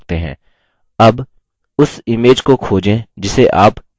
अब उस image को खोजें जिसे आप प्रविष्ट करना चाहते हैं